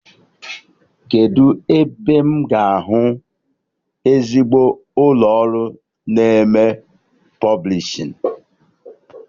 Kedụ ebe m ga-ahụ ezigbo ụlọ ọrụ na-eme pọblishin?